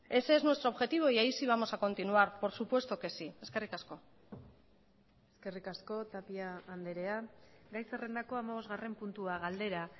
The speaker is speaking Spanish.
ese es nuestro objetivo y ahí si vamos a continuar por supuesto que sí eskerrik asko eskerrik asko tapia andrea gai zerrendako hamabosgarren puntua galdera